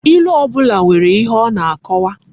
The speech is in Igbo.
Ilu obula nwere ihe o na akowa